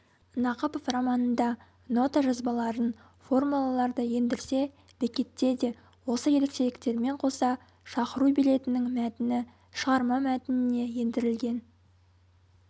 нақыпов романында нота жазбаларын формулаларды ендірсе бекетте де осы ерекшеліктермен қоса шақыру билетінің мәтіні шығарма мәтініне ендірілген